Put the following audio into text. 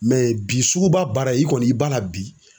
bi suguba baara i kɔni i b'a la bi.